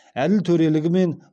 әділ төрелігі мен